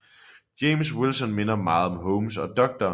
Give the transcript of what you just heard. James Wilson minder meget om Holmes og Dr